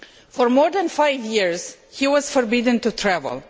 For more than five years he was forbidden to travel.